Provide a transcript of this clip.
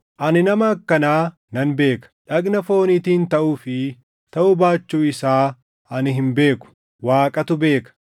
Ani nama akkanaa nan beeka; dhagna fooniitiin taʼuu fi taʼuu baachuu isaa ani hin beeku; Waaqatu beeka;